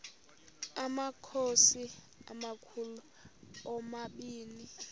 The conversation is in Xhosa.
amakhosi amakhulu omabini